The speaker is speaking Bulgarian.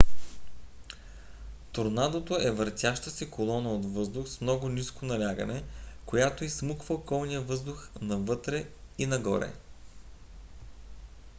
торнадото е въртяща се колона от въздух с много ниско налягане която изсмуква околния въздух навътре и нагоре